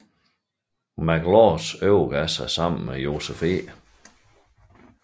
McLaws overgav sig sammen med Joseph E